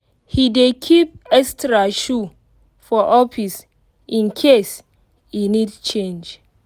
he dey keep extra shoe for office in case e need change